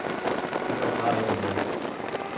Det var bare ikke mig.